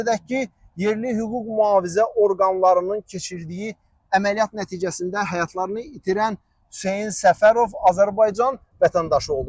Qeyd edək ki, yerli hüquq-mühafizə orqanlarının keçirdiyi əməliyyat nəticəsində həyatlarını itirən Hüseyn Səfərov Azərbaycan vətəndaşı olub.